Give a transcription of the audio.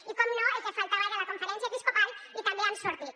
i per descomptat el que faltava era la conferència episcopal i també han sortit